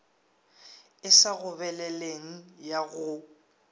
e sa gobeleleng ya go